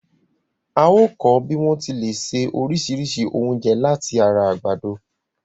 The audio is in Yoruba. A óọ̀ kọ́ bí wọ́n ti lè ṣe oríṣìíríṣìí oúnjẹ láti ara àgbàdo.